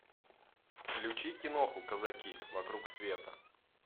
включи киноху казаки вокруг света